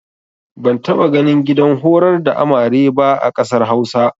Ban taɓa ganin gidan horar da amare ba a ƙasar Hausa.